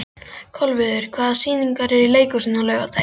Kolviður, hvaða sýningar eru í leikhúsinu á laugardaginn?